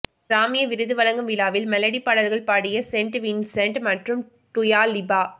கிராமி விருது வழங்கும் விழாவில் மெலடி பாடல்கள் பாடிய சென்ட் வின்சென்ட் மற்றும் டுயா லிபா